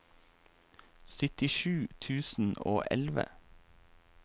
syttisju tusen og elleve